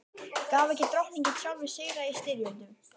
Gaf ekki Drottinn sjálfur sigra í styrjöldum?